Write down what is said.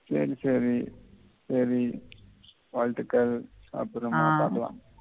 சரி சரி சரி வாழ்த்துக்கள் அப்புறமா பார்க்கலாம் ஆஹ்